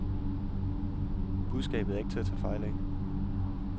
Budskabet er ikke til at tage fejl af.